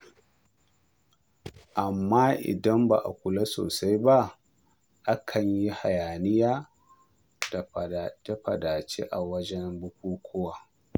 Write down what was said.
Amma idan ba a kula sosai ba, akan yi hayaniya da faɗace-faɗace a wajen bukukuwa.